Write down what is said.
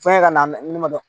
Fɛngɛ ka na ne ma